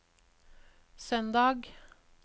søndag